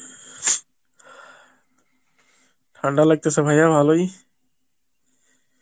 ঠান্ডা লাগতেছে ভাইয়া ভালই